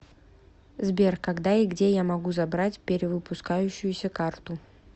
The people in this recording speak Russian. сбер когда и где я могу забрать перевыпускающуюся карту